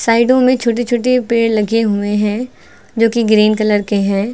साइडों में छोटे छोटे पेड़ लगे हुए हैं जो कि ग्रीन कलर के हैं।